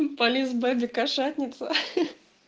приколись боди кошатница